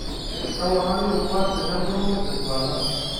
Keponari rubat tenebulu enduata.